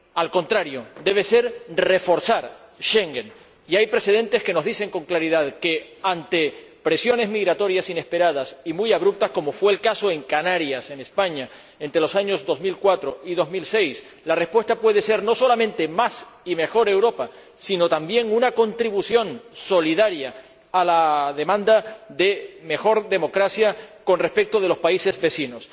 Al contrario, debe ser reforzar Schengen. Y hay precedentes que nos dicen con claridad que, ante presiones migratorias inesperadas y muy abruptas, como fue el caso en Canarias, en España, entre los años 2004 y 2006, la respuesta puede ser no solamente más y mejor Europa, sino también una contribución solidaria a la demanda de mejor democracia con respecto de los países vecinos.